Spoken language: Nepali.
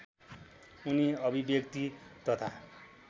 उनी अभिव्यक्ति तथा